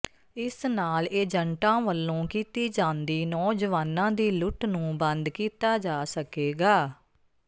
ਇਸ ਨਾਲ ਏਜੰਟਾਂ ਵੱਲੋਂ ਕੀਤੀ ਜਾਂਦੀ ਨੌਜਵਾਨਾਂ ਦੀ ਲੁੱਟ ਨੂੰ ਬੰਦ ਕੀਤਾ ਜਾ ਸਕੇਗਾ